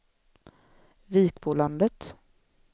Vikbolandet